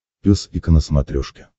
пес и ко на смотрешке